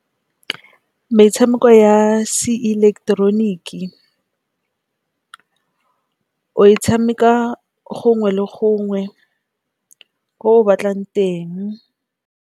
Metshameko ya se ileketeroniki o e tshameka gongwe le gongwe ko batlang teng.